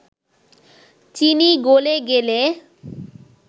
চিনি গলে গেলে